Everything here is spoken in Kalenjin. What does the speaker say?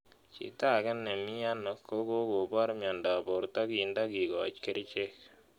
Chito ake ne miano ko kokopor miendop porrto kinda kikoch kerichek